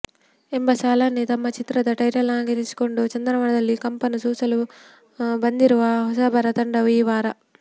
ಎಂಬ ಸಾಲನ್ನೇ ತಮ್ಮ ಚಿತ್ರದ ಟೈಟಲ್ಲಾನ್ನಾಗಿಸಿಕೊಂಡು ಚಂದನವನದಲ್ಲಿ ಕಂಪನ್ನು ಸೂಸಲು ಬಂದಿರುವ ಹೊಸಬರ ತಂಡವು ಈ ವಾರ